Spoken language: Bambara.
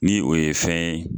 Ni o ye fɛn ye